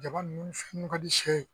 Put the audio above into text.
Jaba nun fɛn ninnu ka di sɛ ye